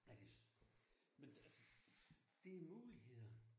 Ja det. Men det altså det muligheder